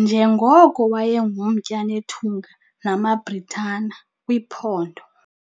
njengoko wayengumtya nethunga namaBritani kwiphondo.